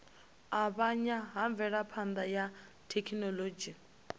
avhanya ha mvelaphana ya thekhinolodzhi